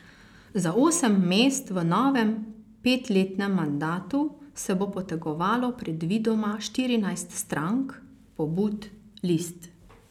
Za osem mest v novem petletnem mandatu se bo potegovalo predvidoma štirinajst strank, pobud, list.